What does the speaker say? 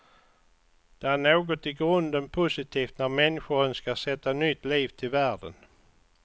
Det är något i grunden positivt när människor önskar sätta nytt liv till världen.